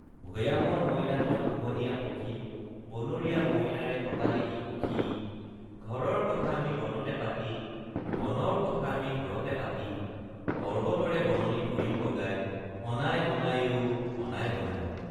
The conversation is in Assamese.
ভয়ামৰ মইনা তই পোহনীয়া পখী বনৰীয়া মইনাৰে পতালিহি সখী ঘৰৰ কথা আমি বনতে পাতি বনৰ কথা আমি ঘৰতে পাতি পৰ্ব্বতৰে বননি ফুৰিম বগাই অনাই বনাই অ অনাই বনাই।